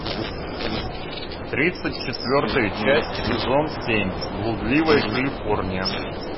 тридцать четвертая часть сезон семь блудливая калифорния